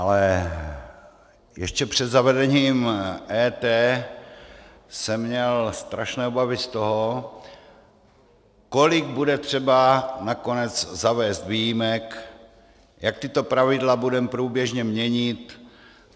Ale ještě před zavedením EET jsem měl strašné obavy z toho, kolik bude třeba nakonec zavést výjimek, jak tato pravidla budeme průběžně měnit.